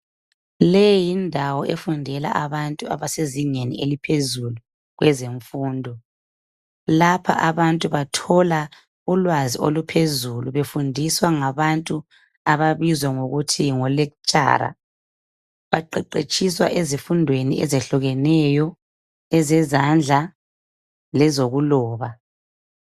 Le yindawo efundela abantu abasezingeni eliphezulu kwezemfundo. Lapha abantu bathola ulwazi oluphezulu befundiswa ngabantu ababizwa ngokuthi ngo lektshara baqeqetshiswa ezifundweni ezehlukeneyo ezezandla lezokuloba.